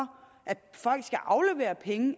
at folk skal aflevere penge